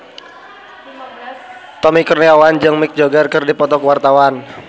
Tommy Kurniawan jeung Mick Jagger keur dipoto ku wartawan